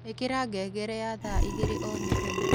Ĩkĩra ngengere ya thaa ĩgĩrĩ o mũthenya